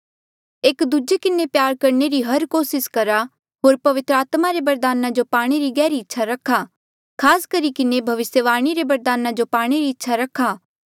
एक दूजे किन्हें प्यार करणे री हर कोसिस करहा होर पवित्र आत्मा से बरदाना पाणे री गहरी इच्छा रखा खास करी भविस्यवाणी रा बरदान पाणे री इच्छा रखा